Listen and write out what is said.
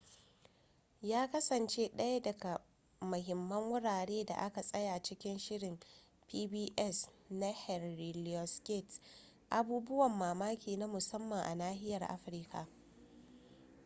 ya kasance ɗaya daga mahimman wurare da aka tsaya cikin shirin pbs na henry louis gates abubuwan mamaki na musamman a nahiyar afirka